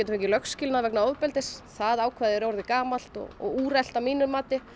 fengið lögskilnað vegna ofbeldis það er orðið gamalt og úrelt að mínu mati